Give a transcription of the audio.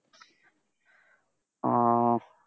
ও